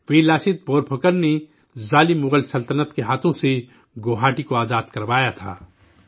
ویر لاست بورپھوکن نے ظالم مغل سطنت کے ہاتھوں سے گوہاٹی کو آزاد کروایا تھا